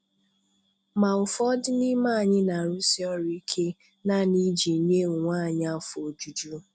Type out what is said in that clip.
Ma ụfọdụ n'ime anyị na-arusi ọrụ ike, naanị iji nye onwe anyị afọ ojuju.